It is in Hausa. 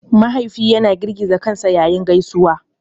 Mahaifi yana girgiza kansa yayin gaisuwa.